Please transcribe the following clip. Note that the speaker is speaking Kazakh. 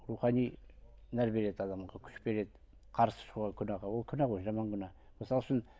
рухани нәр береді адамға күш береді қарсы шығуға күнәға ол күнә ғой жаман күнә мысалы үшін